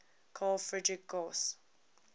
carl friedrich gauss